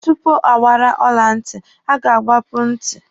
Tupu agbara ọla ntị, a ga-agbapu ntị.